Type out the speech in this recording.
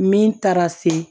Min taara se